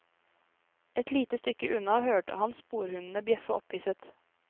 Et lite stykke unna hørte han sporhundene bjeffe opphisset.